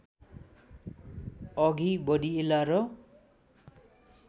अघि बढिएला र